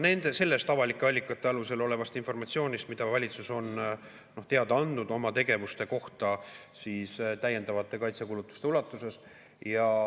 No ma saan lähtuda sellest informatsioonist, mida valitsus on avalike allikate kaudu teada andnud oma tegevuste kohta täiendavate kaitsekulutuste ulatuses.